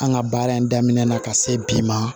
An ka baara in daminɛ na ka se bi ma